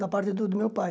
Da parte do do meu pai.